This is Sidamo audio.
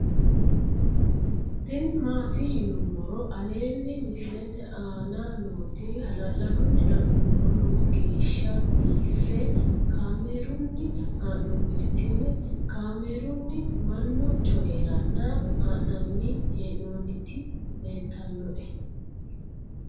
tini maati yinummoro aleenni misilete aana nooti hala'ladunni la'nummoro lowo geeshsha biiffe kaamerunni haa'nooniti tini kaamerunni mannu coyiranna haa'nanni hee'noonniti leeltannoe